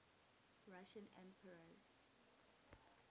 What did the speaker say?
russian emperors